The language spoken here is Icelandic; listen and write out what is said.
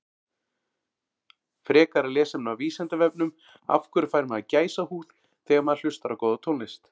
Frekara lesefni á Vísindavefnum Af hverju fær maður gæsahúð þegar maður hlustar á góða tónlist?